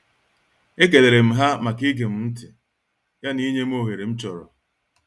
E kelerem ha maka igem ntị ya na inyem oghere m chọrọ.